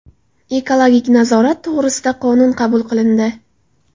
Ekologik nazorat to‘g‘risida qonun qabul qilindi.